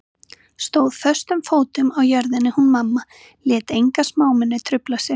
Stóð föstum fótum á jörðinni hún mamma, lét enga smámuni trufla sig.